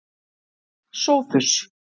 Sófus